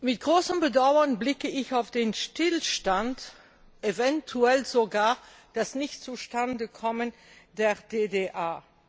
Mit großem Bedauern blicke ich auf den Stillstand, eventuell sogar das Nichtzustandekommen der DDA.